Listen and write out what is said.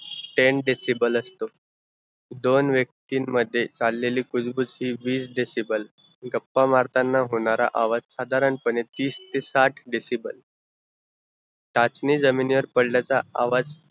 ten decible असतो दोन व्यक्तीन मध्ये चाललेली कुजबुज ती वीस decible असतो, गप्पा मारताना होणारा आवाज साधारण पने तीस से साठ decible टाचणी जमीनीवर पडल्याचा आवाज